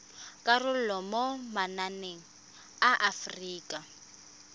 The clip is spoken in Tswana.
karolo mo mananeng a aforika